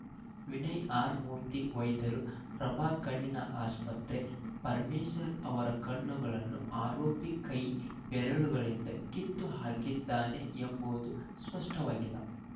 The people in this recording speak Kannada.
ವಿನಯ್‌ಆರ್‌ಮೂರ್ತಿ ವೈದ್ಯರು ಪ್ರಭಾ ಕಣ್ಣಿನ ಆಸ್ಪತ್ರೆ ಪರಮೇಶರ್ ಅವರ ಕಣ್ಣುಗಳನ್ನು ಆರೋಪಿ ಕೈ ಬೆರಳನಿಂದ ಕಿತ್ತು ಹಾಕಿದ್ದಾನೆ ಎಂಬುವುದು ಸ್ಪಷ್ಟವಾಗಿಲ್ಲ